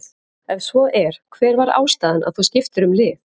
ef svo er hver var ástæðan að þú skiptir um lið?